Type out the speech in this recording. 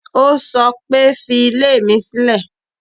Ó sọ pé, fi ilé mi sílè.